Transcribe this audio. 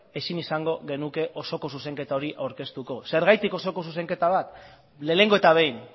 ezin izango genuke osoko zuzenketa hori aurkezteko zergatik osoko zuzenketa bat lehenengo eta behin